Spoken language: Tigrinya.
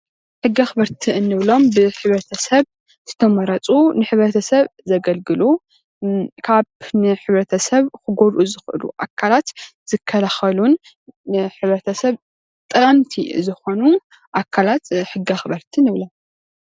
ሕጊ ኣኽበርቲ እንብሎም ብሕብረተሰብ ዝተመረፁ ንሕብረተሰብ ዘገልግሉን ካብ ንሕብረተሰብ ክጎድኡ ዝክእሉ ኣካላት ዝከላኸሉን ንሕብረተሰብ ጠቀምቲ ዝኾኑ ኣካላት ሕጊ ኣኽበርቲ ንብሎም።